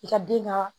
I ka den ka